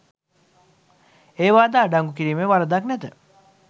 ඒවාද අඩංගු කිරීමේ වරදක් නැත.